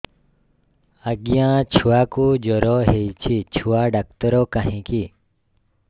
ଆଜ୍ଞା ଛୁଆକୁ ଜର ହେଇଚି ଛୁଆ ଡାକ୍ତର କାହିଁ କି